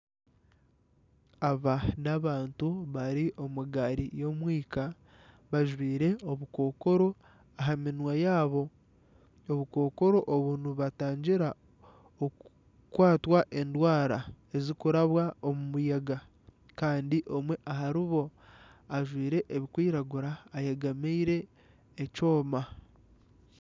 Aba n'abantu bari omu gaari y'omwika bajwire obukokoro aha minwa yaabo. Obukokoro obu nibubatangira oku kwatwa endwara ezirikuraba omu muyaga Kandi omwe ahari bo ajwire ebirikwiragura ayegameire ekyooma